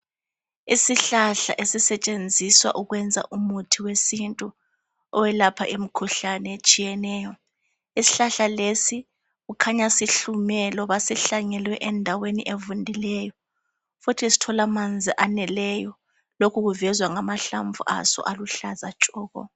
Isihlahla esisetshenzwiswa ukwenza umuthi we sintu oyelapha imikhuhlane etshiyeneyo. Isihlahla lesi kukhanya sihlume loba sihlanyelwe endaweni evundileyo futhi sithola amanzi aneleyo lokhu kuvezwa ngama hlamvu aso aluhlaza tshoko.